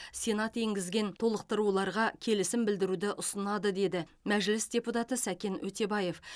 сенат енгізген толықтыруларға келісім білдіруді ұсынады деді мәжіліс депутаты сәкен өтебаев